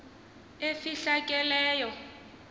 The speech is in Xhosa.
efihlakeleyo